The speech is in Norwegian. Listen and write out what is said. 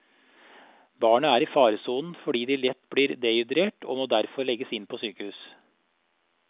Barna er i faresonen fordi de lett blir dehydrert og må derfor legges inn på sykehus.